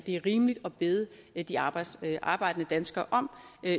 er rimeligt at bede de arbejdende arbejdende danskere om